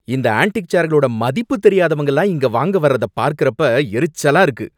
இந்த ஆன்டிக் சேர்களோட மதிப்பு தெரியாதவங்க எல்லாம் இத வாங்க வர்றத பார்க்கறப்ப எரிச்சலா இருக்கு.